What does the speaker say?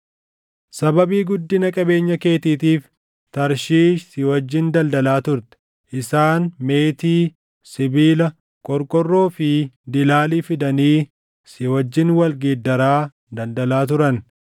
“ ‘Sababii guddina qabeenya keetiitiif Tarshiish si wajjin daldalaa turte; isaan meetii, sibiila, qorqorroo fi dilaalii fidanii si wajjin wal geeddaraa daldalaa turan.